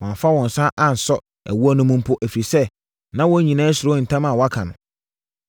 Wɔamfa wɔn nsa ansɔ ɛwoɔ no mu mpo, ɛfiri sɛ, na wɔn nyinaa suro ntam a wɔaka no.